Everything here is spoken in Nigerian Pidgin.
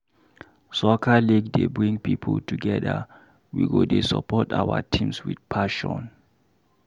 Soccer league dey bring people together, we go dey support our teams with passion.